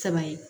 Saba ye